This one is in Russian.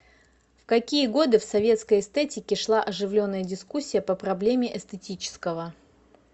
в какие годы в советской эстетике шла оживленная дискуссия по проблеме эстетического